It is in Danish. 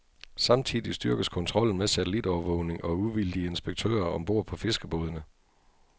Samtidig styrkes kontrollen med satellitovervågning og uvildige inspektører om bord på fiskerbådene.